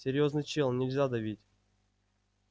серьёзный чел нельзя давить